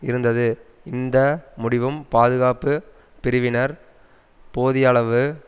இருந்தது இந்த முடிவும் பாதுகாப்பு பிரிவினர் போதியயளவு